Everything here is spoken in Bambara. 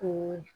O ye